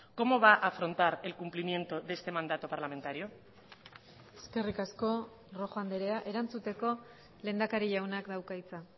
cómo va afrontar el cumplimiento de este mandato parlamentario eskerrik asko rojo andrea erantzuteko lehendakari jaunak dauka hitza